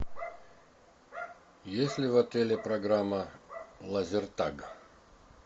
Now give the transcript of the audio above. есть ли в отеле программа лазертаг